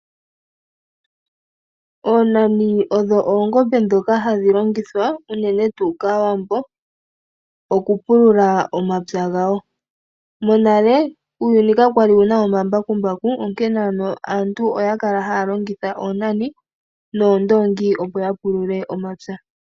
Oonani odho oongombe ndhoka hadhi longithwa, uunene tuu kAawambo, oku pulula omapya gawo. Monale uuyuni kakwali wu na omambakumbaku onkene aantu oya kala haya longitha oonani noondongi opo ya pulule omapya.